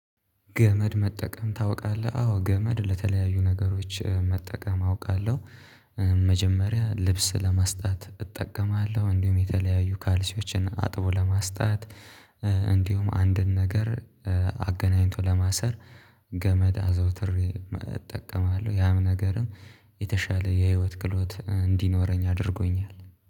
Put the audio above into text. ገመድ መጠቀም ታውቃለህ? አዎ ገመድ ለተለያዩ ነገሮች መጠቀም አውቃለሁ። መጀመሪያ ልብስ ለመስጣት እጠቀማለሁ እንዲሁም የተለያዩ ካልሲዎችን አጥቦ ለማስጣት። እንዲሁም አንድን ነገር አገናኝቶ ለማሰር ገመድ አዘውትሬ እጠቀማለሁ። ያም ነገርም የተሻለ የህይወት ክሎት እንዲኖረኝ አድርጎኛል